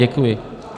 Děkuji.